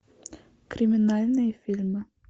криминальные фильмы